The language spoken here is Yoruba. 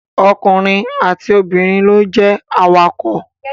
Ọkùnrin àti obìnrin ló lè jẹ awakọ̀